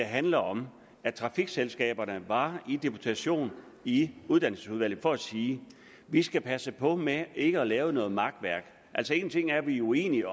handler om at trafikselskaberne var i deputation i uddannelsesudvalget for at sige at vi skal passe på med ikke at lave noget makværk altså en ting er at vi er uenige